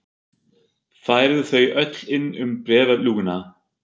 Færðu þau öll inn um bréfalúguna?